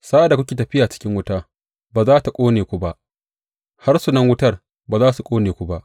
Sa’ad da kuke tafiyata cikin wuta, ba za tă ƙone ku ba; harsunan wutar ba za su ƙone ku ba.